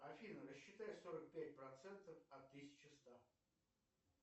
афина рассчитай сорок пять процентов от тысячи ста